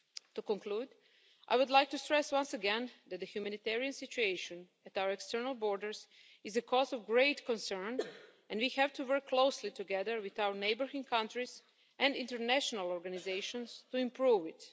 To conclude, I would like to stress once again that the humanitarian situation at our external borders is a cause of great concern and we have to work closely together with our neighbouring countries and international organisations to improve